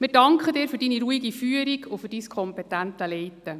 Wir danken Ihnen für Ihre ruhige Führung und die kompetente Leitung.